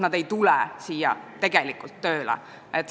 Nad ei tule siia tegelikult tööle.